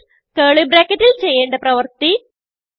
else curly bracketൽ ചെയ്യേണ്ട പ്രവർത്തി